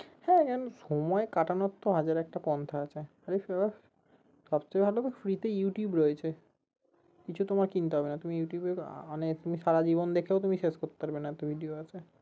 হ্যাঁ সময় কাটানোর তো হাজার একটা পন্থা আছে সবচে ভালো তো free তো ইউটুব রয়েছে, কিছু তোমায় কিনতে হবে না তুমি ইউটিউবে তুমি সারা জীবন দেখেও তুমি শেষ করতে পারবে না এত video আছে